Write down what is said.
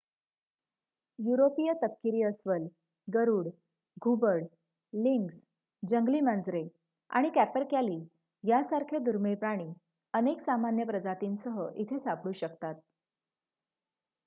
युरोपीय तपकिरी अस्वल गरुड घुबड लिंक्स जंगली मांजरे आणि कॅपरकॅली यासारखे दुर्मिळ प्राणी अनेक सामान्य प्रजातींसह इथे सापडू शकतात